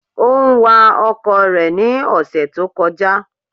Ó ń wa ọkọ̀ rẹ̀ ní ọ̀sẹ̀ tó kọjá.